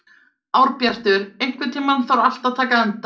Árbjartur, einhvern tímann þarf allt að taka enda.